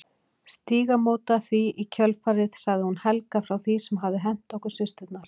Stígamóta því í kjölfarið sagði hún Helga frá því sem hafði hent okkur systurnar.